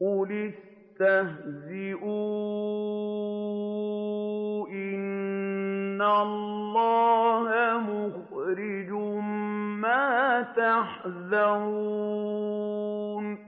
قُلِ اسْتَهْزِئُوا إِنَّ اللَّهَ مُخْرِجٌ مَّا تَحْذَرُونَ